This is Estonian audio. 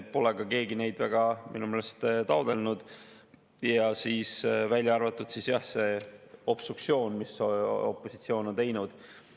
Keegi pole neid minu meelest ka väga taotlenud, kui välja arvata obstruktsioon, mida opositsioon on teinud.